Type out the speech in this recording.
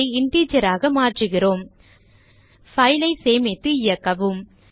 இதை integer க்கு மாற்றுகிறோம் file ஐ சேமித்து இயக்கவும்